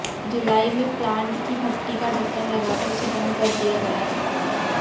जुलाई में प्लांट की भट्टी का ढक्कन लगाकर उसे बंद कर दिया गया था